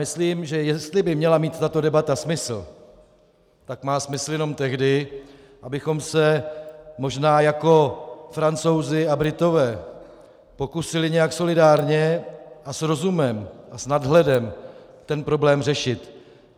Myslím, že jestli by měla mít tato debata smysl, tak má smysl jenom tehdy, abychom se možná jako Francouzi a Britové pokusili nějak solidárně a s rozumem a s nadhledem ten problém řešit.